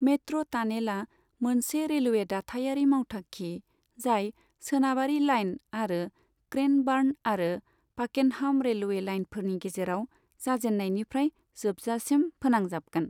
Metro टानेला मोनसे railway दाथायारि मावथांखि जाय सोनाबारि लाइन आरो क्रैनबार्न आरो पाकेनहम रेलवे लाइनफोरनि गेजेराव जाजेन्नायनिफ्राय जोबजासिम फोनांजाबगोन।